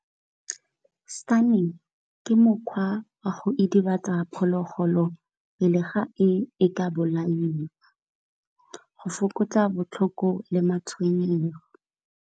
Stunning ke mokgwa wa go idibatsa phologolo pele ga e, e ka bolaiwa go fokotsa botlhoko le matshwenyego.